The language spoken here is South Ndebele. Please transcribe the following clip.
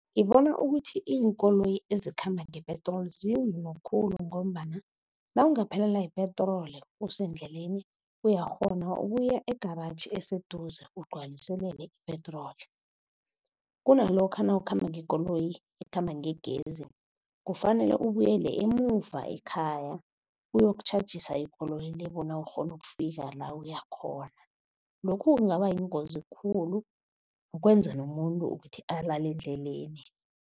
Ngibona ukuthi iinkoloyi ezikhamba ngepetroli zincono khulu, ngombana nawungaphelela yipetroli usendleleni uyakghona ukuya egaratjhi eseduze ugcwaliselele ipetroli. Kunalokha nawukhamba ngekoloyi ekhamba ngegezi, kufanele ubuyele emuva ekhaya uyokutjhajisa ikoloyi le bona ukghone ukufika la uya khona. Lokhu kungaba yingozi khulu, kwenza nomuntu ukuthi alale endleleni.